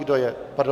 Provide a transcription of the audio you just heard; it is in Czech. Kdo je pro?